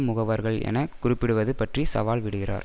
முகவர்கள் என குறிப்பிடுவது பற்றி சவால் விடுகிறார்